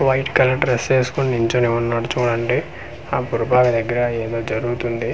white colour dress ఏసుకొని నిల్చొని ఉన్నాడు చూడండి ఆ అప్పుడు బాగ దెగ్గర ఏదో జరుగుతుంది వాల--